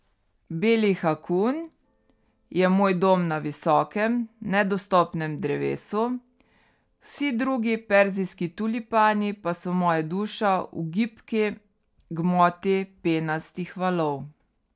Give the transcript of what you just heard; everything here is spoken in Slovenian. Beli hakuun je moj dom na visokem, nedostopnem drevesu, vsi drugi perzijski tulipani pa so moja duša v gibki gmoti penastih valov.